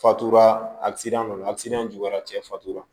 Fatuda asidan don alisinira cɛ fatula